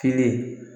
Kelen